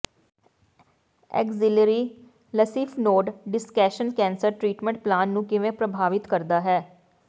axillary lymph node dissection cancer treatment plan ਨੂੰ ਕਿਵੇਂ ਪ੍ਰਭਾਵਿਤ ਕਰਦਾ ਹੈ